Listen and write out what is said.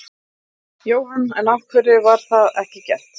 Jóhann: En af hverju var það ekki gert?